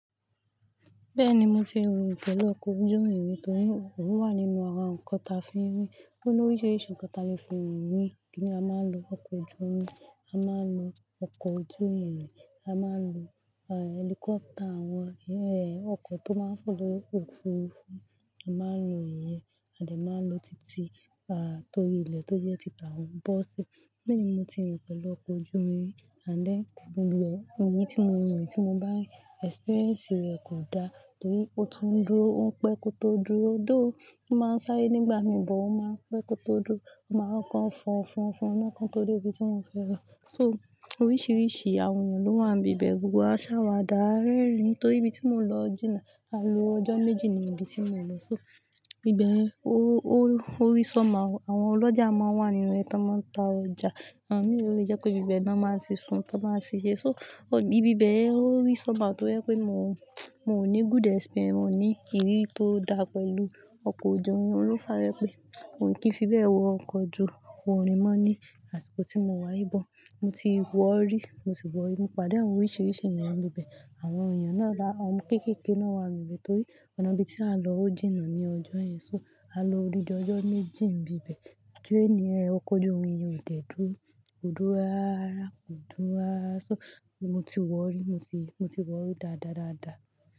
Bẹ́ẹ̀ni, mo ti rìn pẹ̀lú ọkọ̀ ojú irin torí ó wà nínú àwọn nnkan tí a fi ń rìn. Ó ní oríṣiríṣi ǹkan tí a lè fi òǹrìn rìn. Kíni a máa ń lo ọkọ̀ ojú irin, a máa ń lo ọkọ̀ ojú ìrìn, a máa ń lo, ah, helicopter, àwọn, ẹ, ọkọ̀ tó máa ń fò ofurufu a máa ń lo ìyẹn. A dè máa ń lo títí, ah, torí ilẹ̀ tó jẹ́ títà, àwọn bọ́ọ́sì. Bẹ́ẹ̀ni, mo ti rìn pẹ̀lú ọkọ̀ ojú irin rí,, àlé, lù ẹ́, ìrìn tí mo rìn, tí mo bá experience rẹ̀ kò dá torí ó tún dúró, ó ń pẹ́ kó tó dúró. Ó dó, ó máa ń sáré nígbà mìíràn, ó máa ń pẹ́ kó tó dúró. A máa ń kan fọn fọn fọn, a máa kan tó dé ibi tí wọ́n fẹ́ rà. So oríṣiríṣi àwọn ènìyàn ló wà ní ibẹ̀, gbogbo wa ń ṣàwàdà, rẹ́rìn ín torí ibi tí mo lọ jìnà, a lo ọjọ́ méjì ni ibi tí mo lọ. So ibẹ̀ ó, ó, ó rí sọ́ma. Àwọn olójà máa ń wà nínú rẹ̀ tí wọ́n máa ń ta ọjà. Àwọn mìíràn yẹ kó pé ibi bẹ́ẹ̀ ni wọ́n máa ṣé sùn, tí wọ́n baa ṣé ṣe. So ibi bẹ́ẹ̀ ó rí sọ́ma torí pé mo, mo kò ní good experience, mo ní ìrírí tó dá pẹ̀lú ọkọ̀ ojú irin. Òhun ló fàá tójẹ́ pé Òhun kì í fi bẹ́ẹ̀ wọ ọkọ̀ ojú, ó rìn mọ́ ní àsìkò tí mo wá yìí bọ̀. Mo ti wọ rí, mo sì wọ̀ ẹ́, mo pàdé àwọn oríṣiríṣi ènìyàn ní ibẹ̀. Àwọn ènìyàn náà dá, àwọn kéékèèké náà wà ní ibẹ̀ torí ọ̀nà ibi tí a lọ ó jìnà ní ọjọ́ yẹn. So a lo òní di ọjọ́ méjì ń bi bẹ̀. Jú ẹ ní ẹ, ọkọ̀ ojú irin ò tẹ́dúró, kò dúró rárá, kò dúró rárá. So mo ti wọ rí, mo sì, mo ti wọ̀ ẹ́ dáadáa dáadáa.